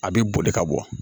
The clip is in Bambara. A bɛ boli ka bɔ